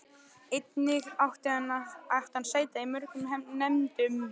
Einnig átti hann sæti í mörgum nefndum.